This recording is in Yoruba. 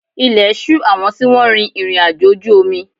Ilẹ̀ ṣù àwọn tí wọ́n rin ìrìnàjò ojú omi